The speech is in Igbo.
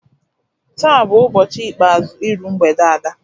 Taa bu ubọchi ikpeazu iru mgbede Ada.